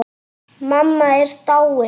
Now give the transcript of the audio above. Mamma er dáin.